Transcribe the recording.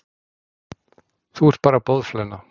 Þú ert bara boðflenna.